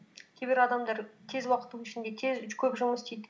кейбір адамдар тез уақыттың ішінде көп жұмыс істейді